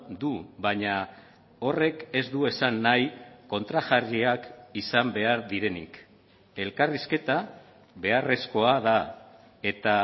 du baina horrek ez du esan nahi kontrajarriak izan behar direnik elkarrizketa beharrezkoa da eta